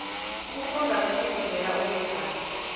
kufundza kutifundzela uwedwana